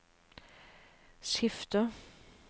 skifter